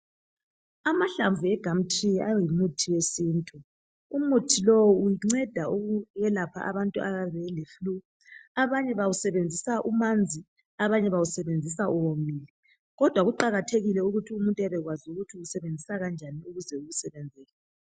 Amahlamvu e gumtree ayimithi yesintu. Umuthi lowu unceda ukwelapha abantu abayabe aba bele flue. Abanye bawusebenzisa umanzi, abanye bawusebenzisa uwomile, kodwa kuqakathekile ukuthi umuntu abekwazi ukuthi uwusebenzisa kanjani ukuze umsebenzele.